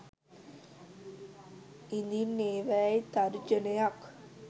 ඉඳින් ඒවායින් තර්ජනයක්